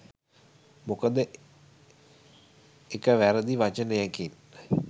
මොකද එක වැරදි වචනයකින්